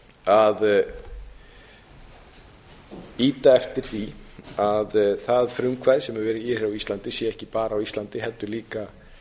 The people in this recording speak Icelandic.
að ýta eftir því að það frumkvæði sem hefur verið hér á íslandi sé ekki bara á íslandi heldur líka